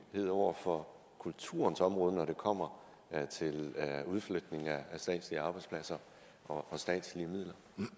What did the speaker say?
over for kulturens område når det kommer til udflytning af statslige arbejdspladser og statslige midler